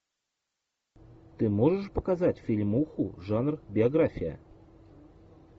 ты можешь показать фильмуху жанр биография